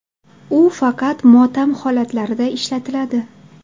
U faqat motam holatlarida ishlatiladi.